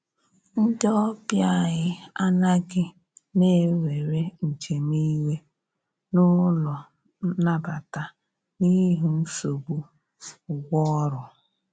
Ndi ọbịa anyi anaghi na enwere njem iwe n'ụlọ nabata n'ihi nsogbụ ụgwọ ọrụ